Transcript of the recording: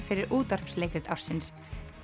fyrir útvarpsleikrit ársins